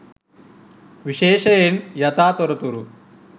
විශේෂයෙන් යථා තොරතුරු